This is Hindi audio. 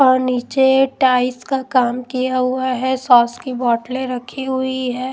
और नीचे टाइस का काम किया हुआ है सॉस की बोतलें रखी हुई है।